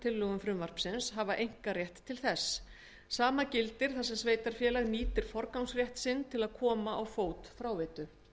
tillögum frumvarpsins hafa einkarétt til þess sama gildir þar sem sveitarfélag nýtir forgangsrétt sinn til að koma á fót fráveitu